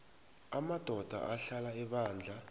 amadoda ahlala ebandla